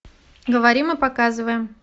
говорим и показываем